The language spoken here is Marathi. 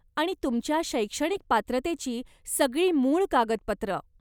आणि तुमच्या शैक्षणिक पात्रतेची सगळी मूळ कागदपत्रं.